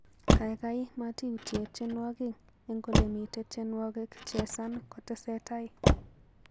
Gaigai matituiye tyenwogik eng olemiten tyenwogik chesan kotesetai